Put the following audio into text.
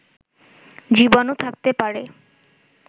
জীবাণু থাকতে পারে